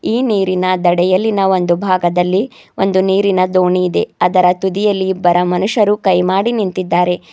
ಈ ನೀರಿನ ದಡೆಯಲ್ಲಿನ ಒಂದು ಭಾಗದಲ್ಲಿ ಒಂದು ನೀರಿನ ದೋಣಿಯಿದೆ ಅದರ ತುದಿಯಲ್ಲಿ ಒಬ್ಬರ ಮನುಷ್ಯರು ಕೈಮಾಡಿ ನಿಂತಿದ್ದಾರೆ.